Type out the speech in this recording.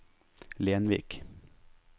Lenvik